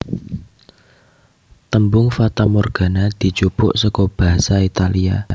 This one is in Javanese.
Tembung fatamorgana dijupuk saka basa Italia